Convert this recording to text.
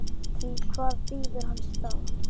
Því hvað bíður hans þá?